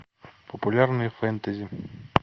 популярные фэнтези